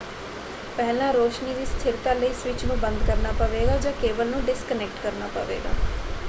ਪਹਿਲਾਂ ਰੌਸ਼ਨੀ ਦੀ ਸਥਿਰਤਾ ਲਈ ਸਵਿੱਚ ਨੂੰ ਬੰਦ ਕਰਨਾ ਪਵੇਗਾ ਜਾਂ ਕੇਬਲ ਨੂੰ ਡਿਸਕਨੈਕਟ ਕਰਨਾ ਹੋਵੇਗਾ।